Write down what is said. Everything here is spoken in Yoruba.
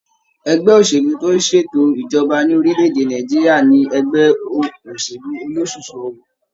Ẹgbẹ́ òṣèlú tó ń ṣètò ìjọba ní orílẹ̀ èdè Nàìjíríà ní ẹgbẹ́ òṣèlú ólosúsú ọwọ.